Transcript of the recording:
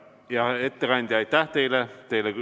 Hea ettekandja, aitäh teile!